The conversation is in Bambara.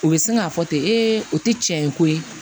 U bɛ sin k'a fɔ ten o tɛ tiɲɛ ye ko ye